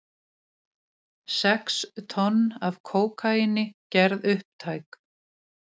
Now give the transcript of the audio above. Sex tonn af kókaíni gerð upptæk